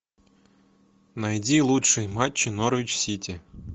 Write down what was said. найди лучшие матчи норвич сити